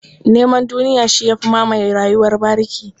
Neman duniya shi ya fi mamaye rayuwar bariki.